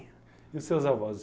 E os seus avós?